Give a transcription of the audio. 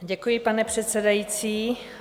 Děkuji, pane předsedající.